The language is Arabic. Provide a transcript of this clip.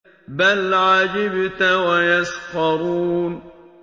بَلْ عَجِبْتَ وَيَسْخَرُونَ